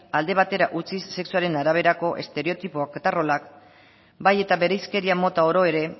alde batera utzi sexuaren araberako estereotipok eta rolak bai eta bereizkeria mota oro ere